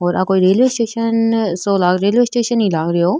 और आ कोई रेलवे स्टेशन सो रेलवे स्टेशन ही लाग रेहो --